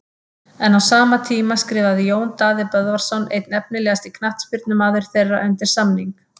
En á sama tíma skrifaði Jón Daði Böðvarsson einn efnilegasti knattspyrnumaður þeirra undir samning.